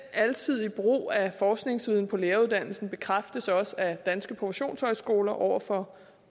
alsidige brug af forskningsviden på læreruddannelsen bekræftes også af danske professionshøjskoler over for